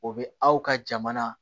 O bɛ aw ka jamana